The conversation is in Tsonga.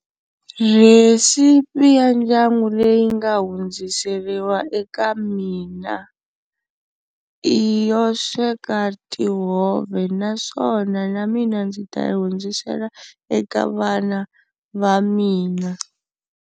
Recipe ya ndyangu leyi nga hundziseriwa eka mina i yo sweka tihove naswona na mina ndzi ta yi hundzisela eka vana va mina.